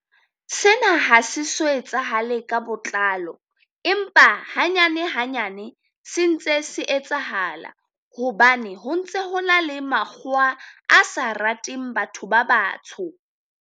Sena ha se so etsahale ka botlalo ema hanyane hanyane se ntse se etsahala, hobane ho ntse ho na le makgowa a sa rateng batho ba batsho.